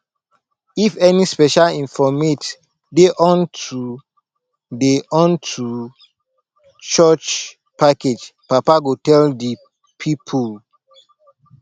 if any special informate dey unto dey unto church package papa go tell di pipol